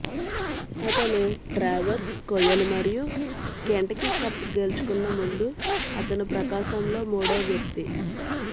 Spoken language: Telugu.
అతను ట్రావెర్స్ కొయ్యలు మరియు కెంటకీ కప్ గెలుచుకున్న ముందు అతను ప్రకాశం లో మూడో వ్యక్తి